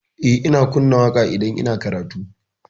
Eh, ina kunna waƙa idan ina karatu.